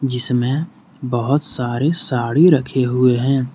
इसमें बहुत सारी साड़ी रखी हुई है।